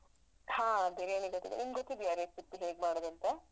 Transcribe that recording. ಹಾ biriyani ಬೇಕಿದ್ರೆ, ನಿಮ್ಗ್ ಗೊತ್ತಿದ್ಯಾ recipe ಹೇಗ್ ಮಾಡುದಂತ?